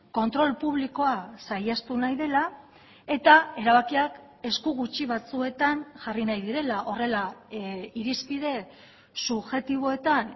kontrol publikoa saihestu nahi dela eta erabakiak esku gutxi batzuetan jarri nahi direla horrela irizpide subjektiboetan